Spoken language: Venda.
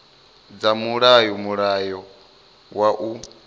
dza mulayo mulayo wa u